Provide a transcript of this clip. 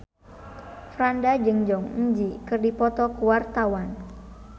Franda jeung Jong Eun Ji keur dipoto ku wartawan